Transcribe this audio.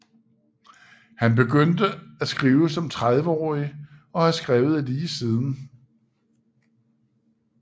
Han begynde at skrive som trediveårig og har skrevet lige siden